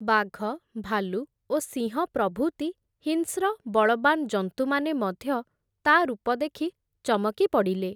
ବାଘ ଭାଲୁ ଓ ସିଂହ ପ୍ରଭୁତି ହିଂସ୍ର, ବଳ୍‌ବାନ ଜନ୍ତୁମାନେ ମଧ୍ୟ, ତା’ ରୂପ ଦେଖି ଚମକି ପଡ଼ିଲେ ।